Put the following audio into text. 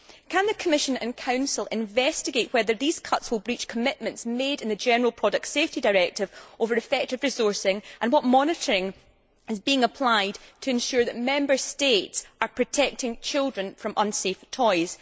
Can the Commission and Council investigate whether these cuts will breach commitments made in the General Product Safety Directive regarding effective resourcing, and what monitoring is being applied to ensure that Member States are protecting children from unsafe toys?